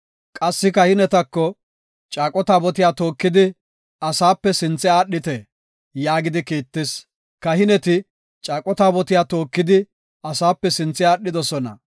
Qassi kahinetas, “Caaqo taabotiya tookidi, asape sinthe aadhite” yaagidi kiittis. Kahineti caaqo taabotiya tookidi, asape sinthe aadhidosona.